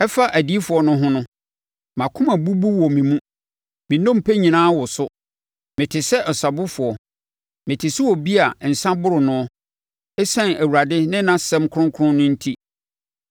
Ɛfa adiyifoɔ no ho no: Mʼakoma abubu wɔ me mu; me nnompe nyinaa woso. Mete sɛ ɔsabofoɔ, mete sɛ obi a nsã aboro noɔ, ɛsiane Awurade ne ne nsɛm kronkron no enti.